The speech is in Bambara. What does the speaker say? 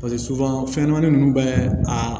Paseke fɛnɲɛnamani ninnu bɛɛ a